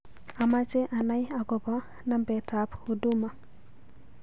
Amache anai agoba nambetab huduma